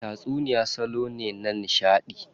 Tatsuniya salo ne na nishadi.